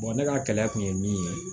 ne ka kɛlɛ tun ye min ye